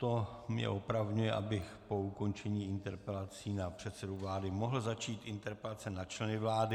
To mě opravňuje, abych po ukončení interpelací na předsedu vlády mohl začít interpelacemi na členy vlády.